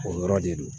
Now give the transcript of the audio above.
O yɔrɔ de do